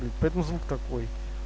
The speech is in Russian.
поэтому звук такой